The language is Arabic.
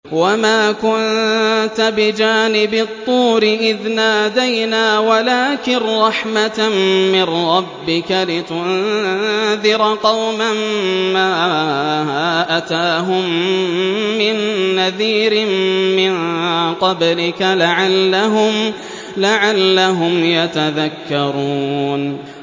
وَمَا كُنتَ بِجَانِبِ الطُّورِ إِذْ نَادَيْنَا وَلَٰكِن رَّحْمَةً مِّن رَّبِّكَ لِتُنذِرَ قَوْمًا مَّا أَتَاهُم مِّن نَّذِيرٍ مِّن قَبْلِكَ لَعَلَّهُمْ يَتَذَكَّرُونَ